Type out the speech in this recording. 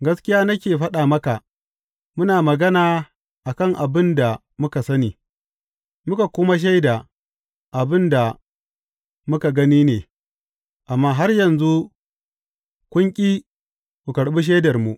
Gaskiya nake faɗa maka, muna magana a kan abin da muka sani, muka kuma shaida abin da muka gani ne, amma har yanzu kun ƙi ku karɓi shaidarmu.